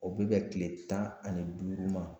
O bɛ bɛn tile tan ani duuru ma